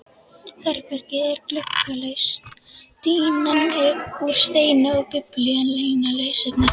Herbergið er gluggalaust, dýnan úr steini og Biblían eina lesefnið.